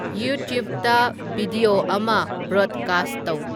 ꯌꯨꯇ꯭ꯌꯨꯕꯇ ꯚꯤꯗꯤꯌꯣ ꯑꯃ ꯕꯔꯣꯗꯀꯥꯁ꯭ꯠ ꯇꯧ